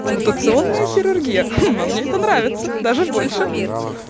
мутационная хирургия а мне это нравится даже больше